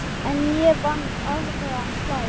En ég vann aðra slagi.